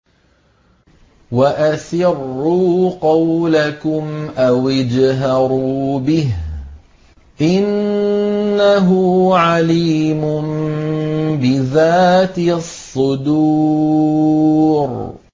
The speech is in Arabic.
وَأَسِرُّوا قَوْلَكُمْ أَوِ اجْهَرُوا بِهِ ۖ إِنَّهُ عَلِيمٌ بِذَاتِ الصُّدُورِ